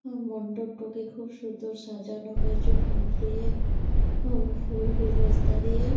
মণ্ডপটাকে খুব সুন্দর সাজানো হয়েছে ফুল দিয়ে এবং ফুল গুলদস্তা দিয়ে।